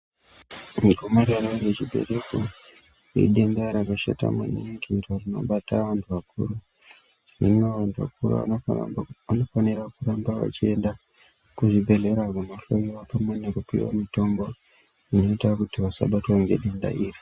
Gomarara rechibereko idenda rakashata maningi iro rinobata antu akuru hino antu akuru anofanira kumbo anofanira kuramba vachienda kuzvibhedhlera kundohloiwa pamwe nekupiwa mutombo inoita kuti vasabatwa nedenda iri.